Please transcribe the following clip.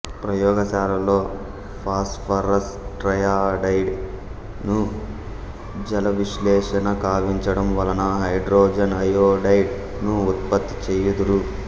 ప్రయోగ శాలల్లో phosphorus triiodide ను జలవిశ్లేషణ కావించడం వలన హైడ్రోజన్ అయోడైడ్ ను ఉత్పత్తి చేయుదురు